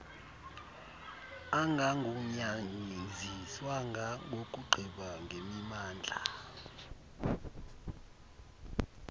angagunyaziswanga nokugqiba ngemimandla